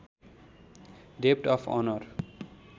डेब्ट of honour